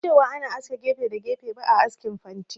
Ban san cewa ana aske gefe da gefe ba a askin fanti